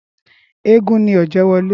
Éégún ni Ọ̀jẹ́wọlé